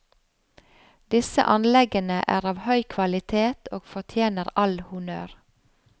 Disse anleggene er av høy kvalitet og fortjener all honnør.